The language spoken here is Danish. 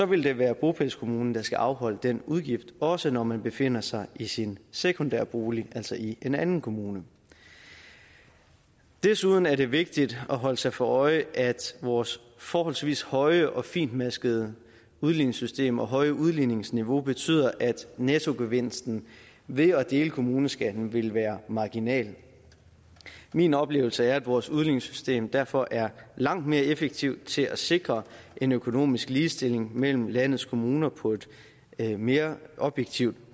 vil det være bopælskommunen der skal afholde den udgift også når man befinder sig i sin sekundære bolig altså i en anden kommune desuden er det vigtigt at holde sig for øje at vores forholdsvis høje og fintmaskede udligningssystem og høje udligningsniveau betyder at nettogevinsten ved at dele kommuneskatten vil være marginal min oplevelse er at vores udligningssystem derfor er langt mere effektivt til at sikre en økonomisk ligestilling mellem landets kommuner på et mere objektivt